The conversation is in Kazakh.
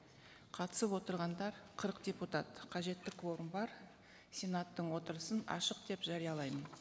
қатысып отырғандар қырық депутат қажетті кворум бар сенаттың отырысын ашық деп жариялаймын